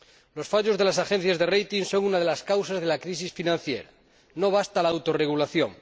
Los fallos de las agencias de rating son una de las causas de la crisis financiera no basta la autorregulación.